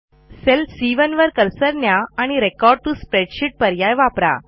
sale C1वर cursor न्या आणि रेकॉर्ड टीओ स्प्रेडशीट पर्याय वापरा